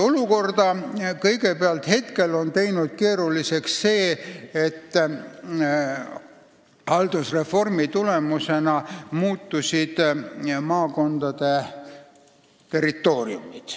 Olukorra on teinud keeruliseks kõigepealt see, et haldusreformi tulemusena muutusid maakondade territooriumid.